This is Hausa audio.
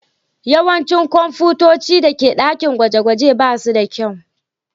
Yawancin kwamfutocin da ke dakin gwaje-gwaje ba su da kyau.